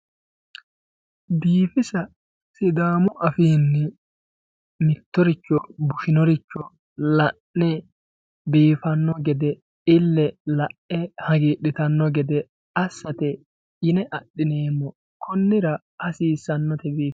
biifisa sidaamu afiinni mittoricho bushsheworicho la'ne biifanno gede ille la'e hagiidhitanno gede assate yine adhineemmo konnira hasiisannote